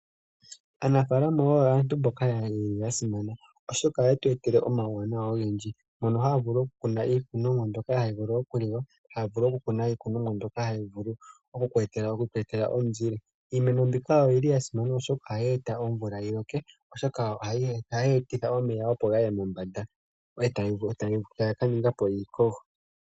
Aanafalama oyo aantu mboka yeli ya simana oshoka oha yetu etele omauwanawa ogendji. Oha ya vulu oku kuna iikunomwa mbyoka hayi vulu oku liwa, noku kunawo iikunomwa mbyoka hayi vulu oku tu etela omu zile. Iimeno mbyoka oyili ya simana molwashoka ohayi eta omvula yi loke mokwetitha omeya ga ye mombanda ngoka haga ni ngipo iikogo.